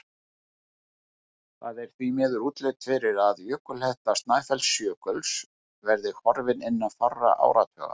Það er því miður útlit fyrir að jökulhetta Snæfellsjökuls verði horfin innan fárra áratuga.